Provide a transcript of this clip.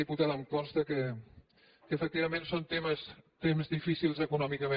diputada em consta que efectivament són temps difícils econòmicament